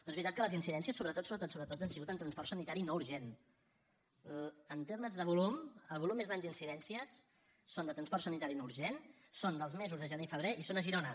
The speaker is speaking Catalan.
però és veritat que les incidències sobretot sobretot sobretot han sigut en transport sanitari no urgent en termes de volum el volum més gran d’incidències són de transport sanitari no urgent són dels mesos de gener i febrer i són a girona